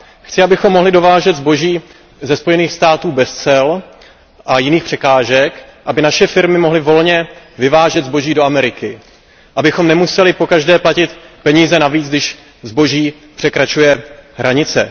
Chci, abychom mohli dovážet zboží ze Spojených států amerických bez cel a jiných překážek, aby naše firmy mohly volně vyvážet zboží do Ameriky, abychom nemuseli pokaždé platit peníze navíc, když zboží překračuje hranice.